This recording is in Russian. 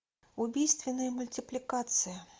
убийственная мультипликация